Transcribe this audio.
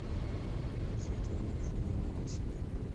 светлана афоновна осипенко